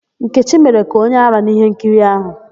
Nkechi mere ka onye árá n'íhénkiri áhụ̀.